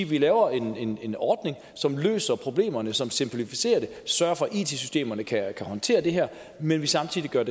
vi laver en en ordning som løser problemerne som simplificerer det og sørger for at it systemerne kan håndtere det her men samtidig gør